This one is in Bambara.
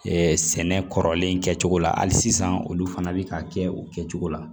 sɛnɛ kɔrɔlen kɛcogo la hali sisan olu fana bɛ ka kɛ o kɛcogo la